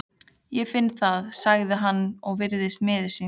Ég finn það, sagði hann og virtist miður sín.